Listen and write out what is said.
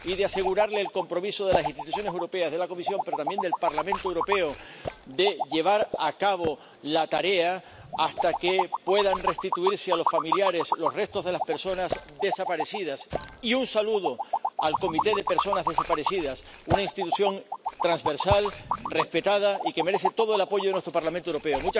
se les ha de asegurar el compromiso de las instituciones europeas —de la Comisión, pero también del Parlamento Europeo— de llevar a cabo la tarea hasta que puedan restituirse a los familiares los restos de las personas desaparecidas. Y un saludo al Comité de Personas Desaparecidas, una institución transversal, respetada y que merece todo el apoyo de nuestro Parlamento Europeo.